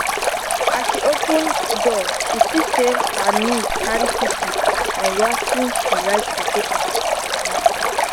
as she open door she see say her niece carry cookie and watin she write for paper for hand